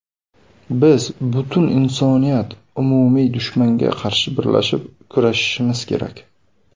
Biz butun insoniyat umumiy dushmanga qarshi birlashib kurashishimiz kerak.